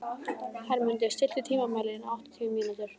Hermundur, stilltu tímamælinn á áttatíu mínútur.